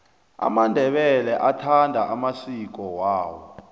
amandebele athanda amasiki awo